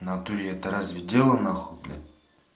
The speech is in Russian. в натуре это разве дело нахуй блять